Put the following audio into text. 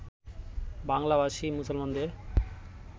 বাংলাভাষী মুসলমানদের